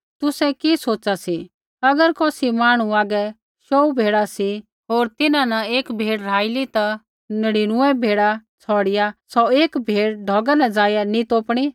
तुसै कि सोच़ा सी अगर कौसी मांहणु हागै शौऊ भेड़ा सी होर तिन्हां न एक भेड़ राहइली ता कि तेई नढ़ीनुऐ भेड़ा छ़ौड़िआ सौ एक भेड़ ढौगा न ज़ाइआ नी तोपणी